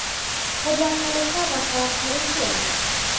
Gũthaka nĩ gwa bata harĩ ciana?